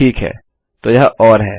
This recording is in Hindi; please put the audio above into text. ठीक है तो यह ओर है